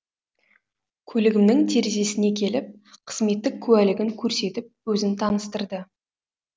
көлігімнің терезесіне келіп қызметтік куәлігін көрсетіп өзін таныстырды